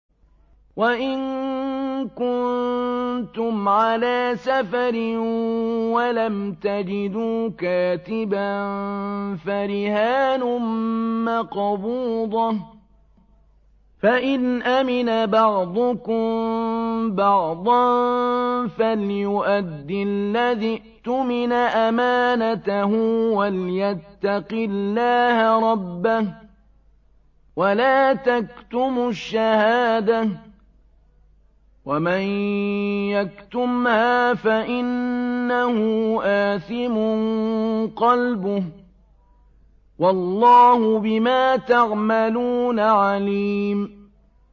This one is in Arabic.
۞ وَإِن كُنتُمْ عَلَىٰ سَفَرٍ وَلَمْ تَجِدُوا كَاتِبًا فَرِهَانٌ مَّقْبُوضَةٌ ۖ فَإِنْ أَمِنَ بَعْضُكُم بَعْضًا فَلْيُؤَدِّ الَّذِي اؤْتُمِنَ أَمَانَتَهُ وَلْيَتَّقِ اللَّهَ رَبَّهُ ۗ وَلَا تَكْتُمُوا الشَّهَادَةَ ۚ وَمَن يَكْتُمْهَا فَإِنَّهُ آثِمٌ قَلْبُهُ ۗ وَاللَّهُ بِمَا تَعْمَلُونَ عَلِيمٌ